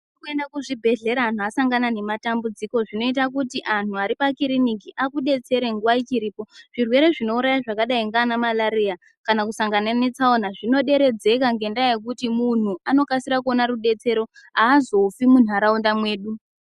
Kwenda kuzviBhedhlera antu asangana nematambudziko zvino kuti anhu aripa kiriniki akudetsera nguwa ichiripo , zvirwere zvinouraya zvakadai ngana malaria kana kusangana netsaona zvinoderedzeka ngendaa yekuti munhu anokasira kuona rudetsero aazofi munharaunda mwedu